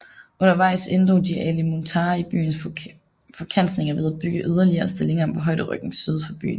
Undervejs inddrog de Ali Muntar i byens forskansninger ved at bygge yderligere stillinger på højderyggen syd for byen